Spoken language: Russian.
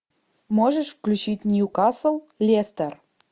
можешь включить ньюкасл лестер